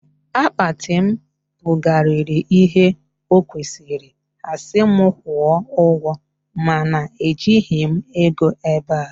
Akpati m bukarịrị ihe o kwesịrị, ha si mụ kwụọ ụgwọ mana ejighị m ego ebea